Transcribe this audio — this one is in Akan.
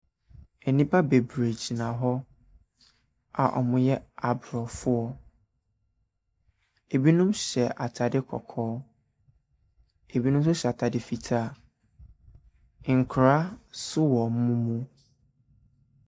Nnipa bebree gyina hɔ a wɔyɛ Abrɔfoɔ. Ebinom hyɛ ataade kɔkɔɔ. Ebinom hyɛ ataade fitaa. Nkwaraa nso wɔ wɔn mu.